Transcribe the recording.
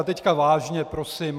A teď vážně prosím.